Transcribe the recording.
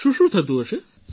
શુંશું થતું હશે